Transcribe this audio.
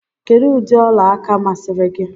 Kedụ ụdị ọla aka masịrị gị?